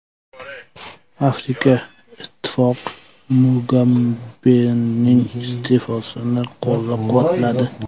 Afrika Ittifoqi Mugabening iste’fosini qo‘llab-quvvatladi.